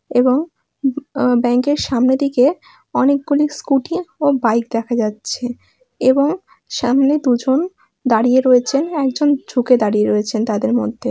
এবং উ অ ব্যাংক এর সামনে দিকে অনেক গুলি স্কোটি ও বাইক দেখা যাচ্ছে এবং সামনে দুজন দাঁড়িয়ে রয়েছেন। একজন ঝুকে দাঁড়িয়ে রয়েছেন তাদের মধ্যে।